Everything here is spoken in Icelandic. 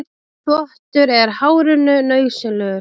Þvottur er hárinu nauðsynlegur.